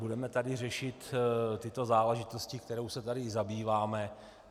Budeme tady řešit tyto záležitosti, kterými se tady zabýváme.